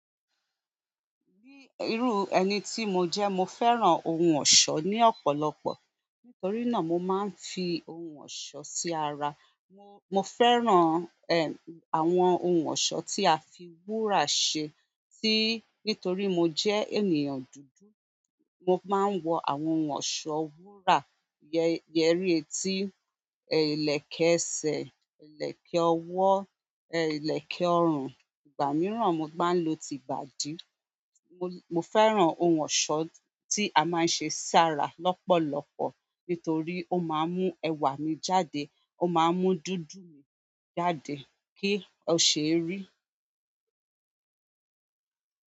Bí irú ẹni tí mo jẹ́, mo fẹ́ràn ohun ọ̀ṣọ́ ní ọ̀pọ̀lọpọ̀. Nítorí náà mo máa ń fi ohun ọ̀ṣọ́ sí ara. Mo fẹ́ràn àwọn ohun ọ̀ṣọ́ tí a fi wúrà ṣe tí nítorí mo jẹ́ ènìyàn dúdú, mo máa ń wọ àwọn ohun ọ̀ṣọ́ wúrà, yẹrí etí, ìlẹ̀kẹ̀ ẹsẹ̀, ìlẹ̀kẹ̀ ọwọ́, ìlẹ̀kẹ̀ ọrùn. Ìgbà mìíràn mo máa ń lo tìbàdí. Mo, fẹ́ràn ohun ọ̀ṣọ́ tí a máa ń ṣe sára lọ́pọ̀lọpọ̀ nítorí ó máa ń mú ẹwà mi jáde, ó máa ń mú dúdú mi jáde kí ó ṣe e rí.